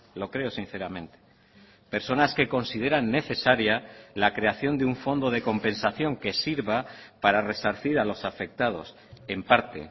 lo creo sinceramente personas que consideran necesaria la creación de un fondo de compensación que sirva para resarcir a los afectados en parte